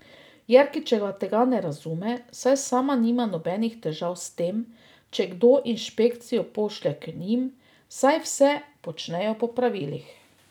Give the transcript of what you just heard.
Jerkičeva tega ne razume, saj sama nima nobenih težav s tem, če kdo inšpekcijo pošlje k njim, saj vse počnejo po pravilih.